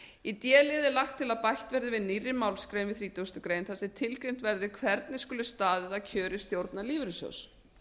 í d lið er lagt til að bætt verði við nýrri málsgrein við þrítugustu greinar þar sem tilgreint verði hvernig skuli staðið að kjöri stjórnar lífeyrissjóðs